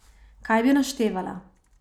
Kaj bi naštevala!